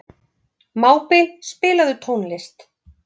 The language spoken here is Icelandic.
Mábil, spilaðu tónlist.